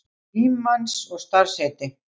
Frímanns og starfsheiti.